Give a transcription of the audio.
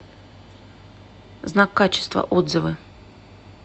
знак качества отзывы